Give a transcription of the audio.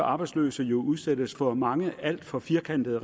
arbejdsløse jo udsættes for mange regler er alt for firkantede